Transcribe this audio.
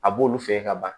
A b'olu fɛ ka ban